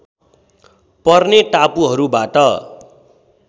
पर्ने टापुहरूबाट